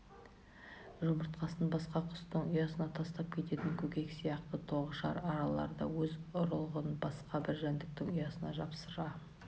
жұмыртқасын басқа құстың ұясына тастап кететін көкек сияқты тоғышар аралар да өз ұрығын басқа бір жәндіктің ұясына жапсыра